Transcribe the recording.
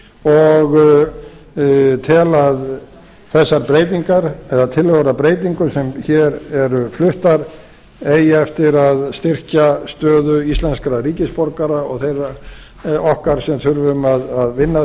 og tel að þessar breytingar eða tillögur að breytingum sem hér eru fluttar eigi eftir að styrkja stöðu íslenskra ríkisborgara og okkar sem þurfum að vinna að